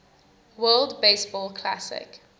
world baseball classic